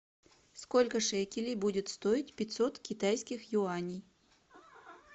сколько шекелей будет стоить пятьсот китайских юаней